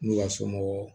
N'u ka somɔgɔw